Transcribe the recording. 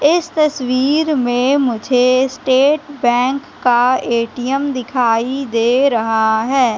इस तस्वीर में मुझे स्टेट बैंक का ए_टी_एम दिखाई दे रहा है।